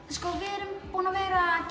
sko við erum búin að vera að